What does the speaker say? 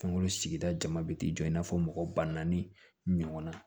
Fɛnkolo sigida jama bɛ t'i jɔ i n'a fɔ mɔgɔ ba naani ɲɔgɔnna